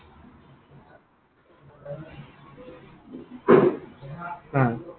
অ।